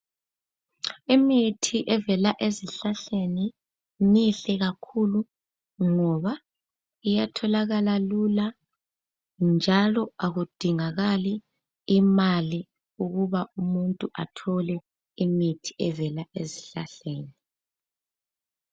Imithi evela ezihlahleni mihle kakhulu ngoba iyatholakala lula njalo akudingakali imali ukuba umuntu athole imithi evela esihlahleni.